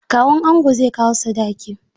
Kawun ango zai kawo sadaki.